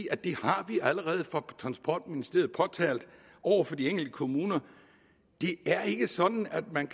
at det har vi allerede fra transportministeriets side påtalt over for de enkelte kommuner det er ikke sådan at man